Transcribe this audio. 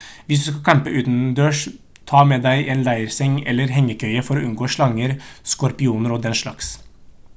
hvis du skal campe utendørs ta med deg en leirseng eller hengekøye for å unngå slanger skorpioner og den slags